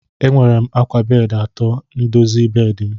Enwere m akwa bedị atọ n'ịdozi bedị m.